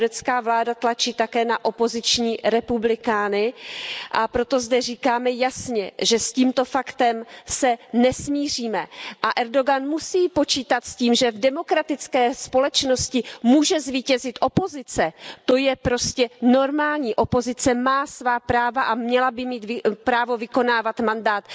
Turecká vláda tlačí také na opoziční republikány, a proto zde říkáme jasně, že s tímto faktem se nesmíříme, a Erdogan musí počítat s tím, že v demokratické společnosti může zvítězit opozice, to je prostě normální. Opozice má svá práva a měla by mít právo vykonávat mandát.